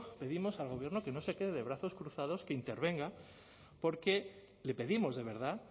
pedimos al gobierno que no se quede de brazos cruzados que intervenga porque le pedimos de verdad